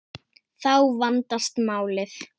Þá vandast málið.